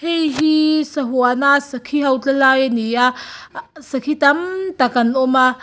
hei hi sahuana sakhi ho tla lai a ni a ahh sakhi tamtak an awm a.